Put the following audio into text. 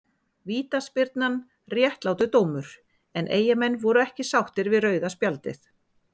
Vítaspyrnan réttlátur dómur en eyjamenn voru ekki sáttir við rauða spjaldið.